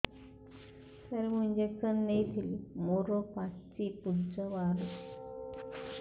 ସାର ମୁଁ ଇଂଜେକସନ ନେଇଥିଲି ମୋରୋ ପାଚି ପୂଜ ବାହାରୁଚି